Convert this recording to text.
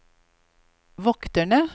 vokterne